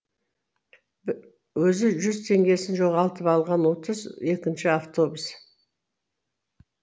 өзі жүз теңгесін жоғалтып алған отыз екінші автобус